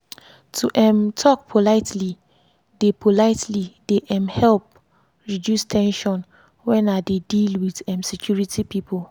to um talk politely dey politely dey um help reduce ten sion when i dey deal with um security people.